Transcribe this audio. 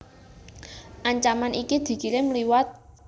Ancaman iki dikirim liwat